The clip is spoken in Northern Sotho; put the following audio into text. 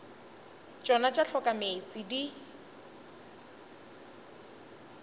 tšona tša hloka meetse di